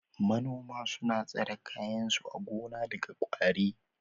Manoma suna tsare kayan su a gona daga ƙwari.